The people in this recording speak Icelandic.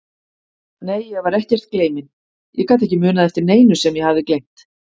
Nei, ég var ekkert gleyminn, ég gat ekki munað eftir neinu sem ég hafði gleymt.